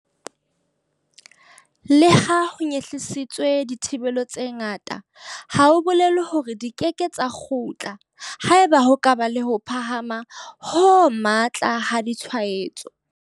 Leha ho nyehlisitswe dithibelo tse ngata, ha ho bolele hore di keke tsa kgutla haeba ho ka ba le ho phahama ho matla ha ditshwaetso.